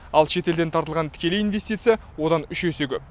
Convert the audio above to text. ал шетелден тартылған тікелей инвестиция одан үш есе көп